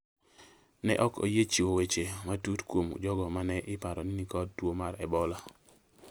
ne ok oyie chiwo weche matut kuom jogo ma ne iparo ni nikod tuo mar Ebola.